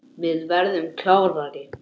Við verðum klárir.